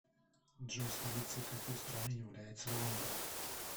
джой столицей какой страны является лондон